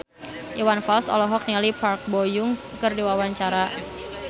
Iwan Fals olohok ningali Park Bo Yung keur diwawancara